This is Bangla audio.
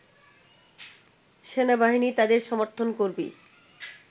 সেনাবাহিনী তাদের ‘সমর্থন’ করবে